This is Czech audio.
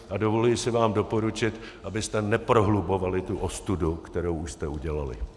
A dovoluji si vám doporučit, abyste neprohlubovali tu ostudu, kterou už jste udělali.